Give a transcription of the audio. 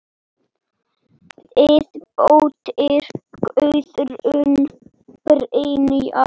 Þín dóttir, Guðrún Brynja.